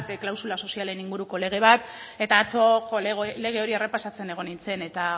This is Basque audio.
klausula sozialen inguruko lege bat eta atzo lege hori errepasatzen egon nintzen eta